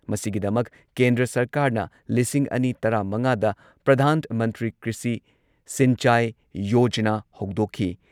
ꯃꯁꯤꯒꯤꯗꯃꯛ ꯀꯦꯟꯗ꯭ꯔ ꯁꯔꯀꯥꯔꯅ ꯂꯤꯁꯤꯡ ꯑꯅꯤ ꯇꯔꯥꯃꯉꯥꯗ ꯄ꯭ꯔꯙꯥꯟ ꯃꯟꯇ꯭ꯔꯤ ꯀ꯭ꯔꯤꯁꯤ ꯁꯤꯟꯆꯥꯏ ꯌꯣꯖꯅꯥ ꯍꯧꯗꯣꯛꯈꯤ꯫